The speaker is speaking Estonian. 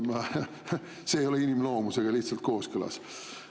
See ei ole inimloomusega lihtsalt kooskõlas.